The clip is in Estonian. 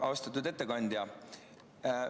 Austatud ettekandja!